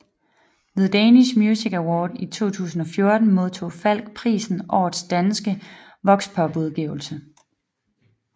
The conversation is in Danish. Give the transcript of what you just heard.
Ved Danish Music Awards i 2014 modtog Falch prisen Årets danske Voxpopudgivelse